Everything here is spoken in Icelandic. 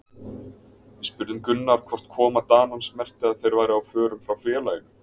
Við spurðum Gunnar hvort koma Danans merkti að þeir væru á förum frá félaginu?